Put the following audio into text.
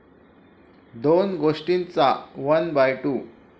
दोन गोष्टींचा 'one by to'